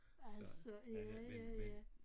Så men men men